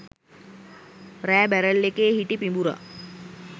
රෑ බැරල් එකේ හිටි පිඹුරා